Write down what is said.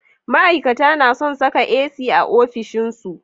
ma'ikata nason Saka AC a ofishin su